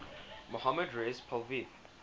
mohammad reza pahlavi